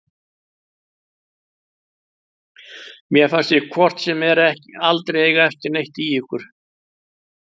Mér fannst ég hvort sem er aldrei eiga neitt í ykkur.